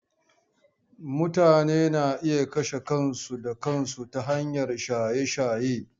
Mutane na iya kashe kansu da kansu ta hanyar shaye-shaye.